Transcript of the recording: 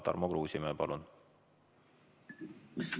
Tarmo Kruusimäe, palun!